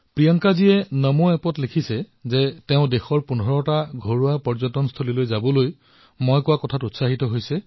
প্ৰিয়ংকাজীয়ে নমো এপত লিখিছে যে তেওঁ দেশৰ ১৫টা ঘৰুৱা পৰ্যটনস্থলীলৈ যোৱাৰ মোৰ পৰামৰ্শৰ দ্বাৰা অত্যন্ত অনুপ্ৰেৰিত হৈছে